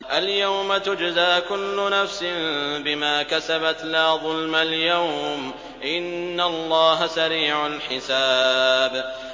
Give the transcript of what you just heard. الْيَوْمَ تُجْزَىٰ كُلُّ نَفْسٍ بِمَا كَسَبَتْ ۚ لَا ظُلْمَ الْيَوْمَ ۚ إِنَّ اللَّهَ سَرِيعُ الْحِسَابِ